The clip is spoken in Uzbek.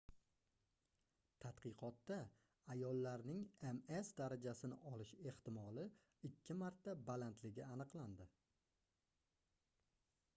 tadqiqotda ayollarning ms darajasini olish ehtimoli ikki marta balandligi aniqlandi